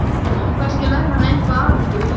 Kannski lærir hann eitthvað af ykkur.